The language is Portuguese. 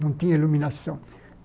Não tinha iluminação.